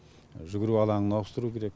жүгіру алаңын ауыстыру керек